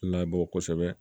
Labɔ kosɛbɛ